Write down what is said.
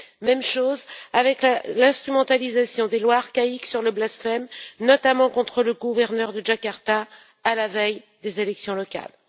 Même chose avec l'instrumentalisation des lois archaïques sur le blasphème, notamment contre le gouverneur de Jakarta, à la veille des élections locales.